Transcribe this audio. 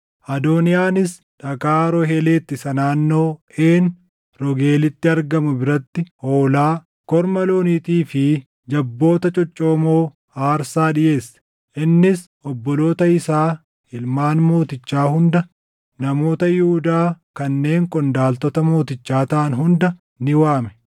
Adooniyaanis dhagaa Zoohelet isa naannoo Een Roogeelitti argamu biratti hoolaa, korma looniitii fi jabboota coccoomoo aarsaa dhiʼeesse. Innis obboloota isaa ilmaan mootichaa hunda, namoota Yihuudaa kanneen qondaaltota mootichaa taʼan hunda ni waame;